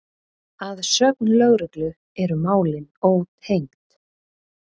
Að sögn lögreglu eru málin ótengd